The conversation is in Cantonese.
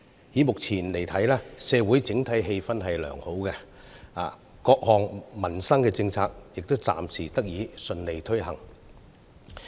以目前來看，社會整體氣氛良好，各項民生政策亦暫時得以順利推行。